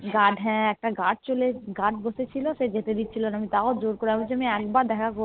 হ্যাঁ একটা Guard চলে Guard বসে ছিল সে যেতে দিচ্ছিলনা আমি তাও জোর করে আমি বলেছি যে আমি একবার দেখা করে